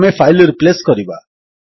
ଆମେ file replace କରିବା